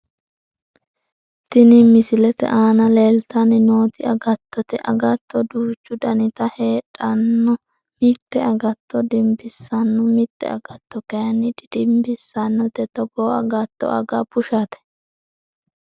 Tini misilete aana leeltanni nooti agattote agatto duuchu daniti heedhanno mite agatto dimbissanno mite agatto kayinni didimbissannote togoo agatto aga bushate